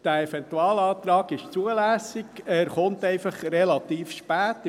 Dieser Eventualantrag ist zulässig, er kommt einfach relativ spät.